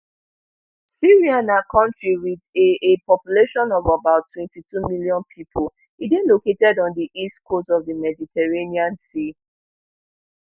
syria na country with a a population of about twenty-two million people e dey located on di east coast of di mediterranean sea